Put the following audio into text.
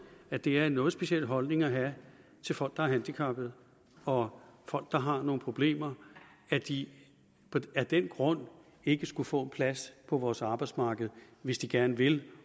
at det er en noget speciel holdning at have til folk der er handicappede og folk der har nogle problemer at de af den grund ikke skulle kunne få en plads på vores arbejdsmarked hvis de gerne vil